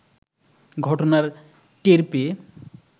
ঘটনার টের পেয়ে